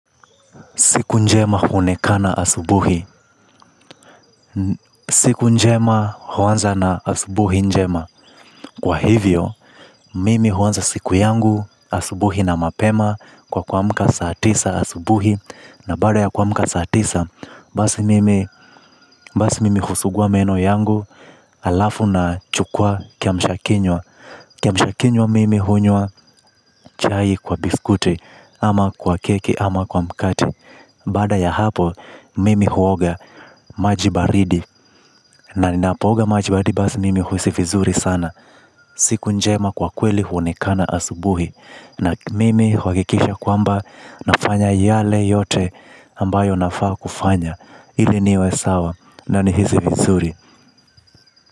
Siku njema huonekana asubuhi siku njema huanza na asubuhi njema. Kwa hivyo, mimi huanza siku yangu asubuhi na mapema kwa kuamka saa tisa asubuhi. Na baada ya kuamka saa tisa basi mimi, basi mimi husugua meno yangu alafu na chukua kiamshakinywa. Kiamshakinywa mimi hunywa chai kwa biskuti ama kwa keki ama kwa mkate. Baada ya hapo mimi huoga majibaridi na ninapooga maji baridi basi mimi huhisi vizuri sana. Siku njema kwa kweli huonekana asubuhi na mimi huakikisha kwamba nafanya yale yote ambayo nafaa kufanya. Ile niwe sawa na ni hisi vizuri.